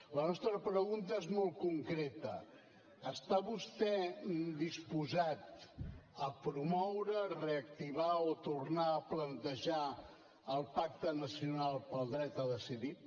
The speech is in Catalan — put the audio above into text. la nostra pregunta és molt concreta està vostè disposat a promoure reactivar o tornar a plantejar el pacte nacional pel dret a decidir